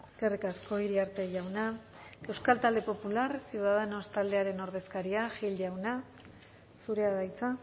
eskerrik asko iriarte jauna euskal talde popular ciudadanos taldearen ordezkaria gil jauna zurea da hitza